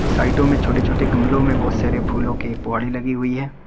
साइडो में छोटे छोटे गमलोें बहोत सारे फूलों के पौढ़े लगी हुई हैं।